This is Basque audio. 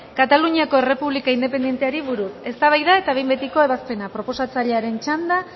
kataluniako errepublika independenteari buruz eztabaida eta behin betiko ebazpena proposatzailearen txanda